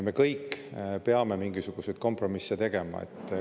Me kõik peame mingisuguseid kompromisse tegema.